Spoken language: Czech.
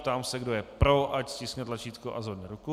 Ptám se, kdo je pro, ať stiskne tlačítko a zvedne ruku.